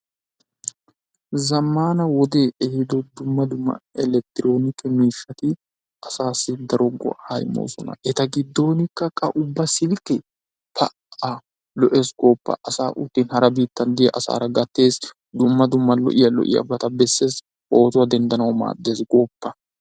Zammaana wodee ehiido dumma dumma elekittiroonike miishshati asaassi daro go"aa immoosona. A giddonkka ubba silkkee pa"aa lo'ees gooppa! Asaa utti asa biittan de'iyagaara gattees, dumma dumma lo'iyabata bessees, pootuwa denddanawu maaddees gooppa.